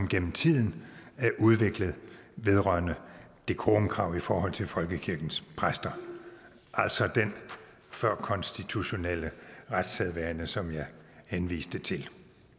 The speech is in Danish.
gennem tiden er udviklet vedrørende decorumkrav i forhold til folkekirkens præster altså den førkonstitutionelle retssædvane som jeg henviste til